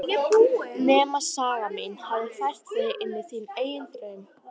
Nema saga mín hafi fært þig inní þinn eigin draum.